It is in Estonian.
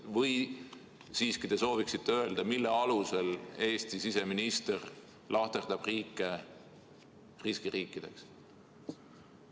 Või te siiski soovite öelda, mille alusel Eesti siseminister lahterdab riike riskiriikideks?